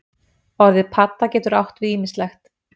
Orðið padda getur átt við ýmislegt.